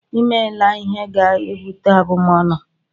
I meela ihe ga-ebute abumọnu!